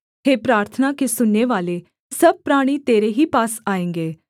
हे प्रार्थना के सुननेवाले सब प्राणी तेरे ही पास आएँगे